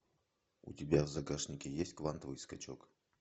у тебя в загашнике есть квантовый скачок